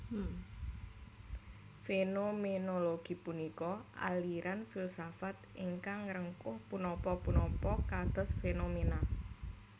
Fénoménologi punika aliran filsafat ingkang ngrengkuh punapa punapa kados fénomèna